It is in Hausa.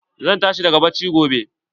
Zan tashi daga bacci gobe.